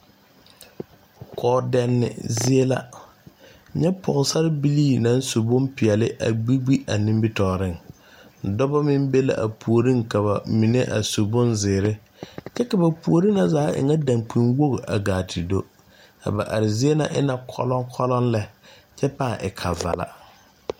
Kɔɔdɛnne zie la nyɛ pɔgesarebilii naŋ su bompeɛle a gbi gbi a nimitɔɔreŋ dɔba meŋ be la a puoriŋ ka ba mine a su bonzeere kyɛ ka ba puori na zaa e ŋa dankpinwogi a gaa te do a ba are zie na e la kɔlɔŋ kɔlɔŋ lɛ kyɛ pãâ e kavala.